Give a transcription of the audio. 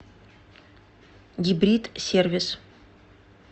гибрид сервис